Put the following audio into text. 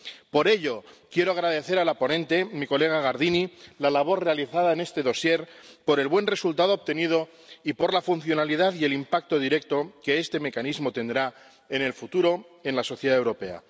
Por ello, quiero agradecer a la ponente, mi colega Gardini, la labor realizada en este dosier, por el buen resultado obtenido y por la funcionalidad y el impacto directo que este mecanismo tendrá en el futuro en la sociedad europea.